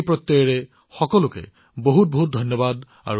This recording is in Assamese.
এই বিশ্বাসেৰে আপোনালোকলৈ অশেষ ধন্যবাদ